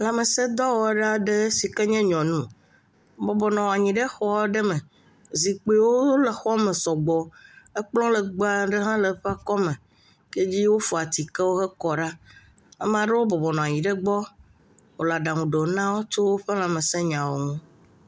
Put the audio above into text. Lãmesẽ dɔwɔla aɖe si ken ye nyanu, bɔbɔ nɔ anyi xɔ aɖe me, zikpuiwo le xɔ me sɔgbɔ, ekplɔ legbee aɖe hã le eƒe akɔme, yike dzi wofɔ atikewo kɔ ɖa. Ame ɖewo bɔbɔ nɔ anyi ɖe gbɔ, wòle aɖaŋu ɖo na wo tso woƒe lãmesẽ nyawo ŋu.